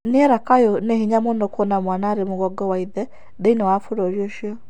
nĩera Kayuũ nĩ hĩnya mũno kũona mwana arĩ mũgongo wa ĩthe thĩnĩ wa bũrũri ucĩo